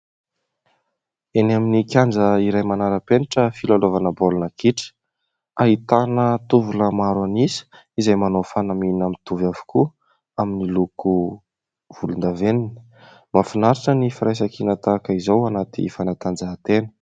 Eny amin'ny kianja iray manara-penitra filalaovana baolina kitra. Ahitana tovolahy maro an'isa izay manao fanamiana mitovy avokoa amin'ny loko volondavenona. Mahafinaritra ny firaisan-kina tahaka izao anaty fanatanjahan-tena.